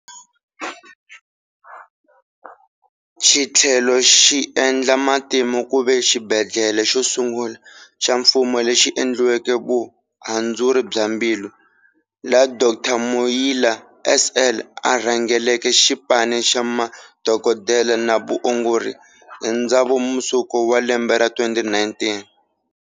Xithlele xi endla matimu kuva xibedlele xo sungula xa mfumo lexi endleke vuhandzuri bya mbilu, laha Dr. Muila SL a rhangeleke xipani xa madokodela na va ongori hi Dzivamusoko wa lembe ra 2019.